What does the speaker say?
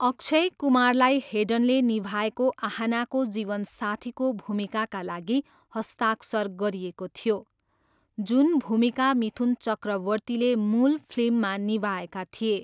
अक्षय कुमारलाई हेडनले निभाएको आहानाको जीवन साथीको भूमिकाका लागि हस्ताक्षर गरिएको थियो, जुन भूमिका मिथुन चक्रवर्तीले मूल फिल्ममा निभाएका थिए।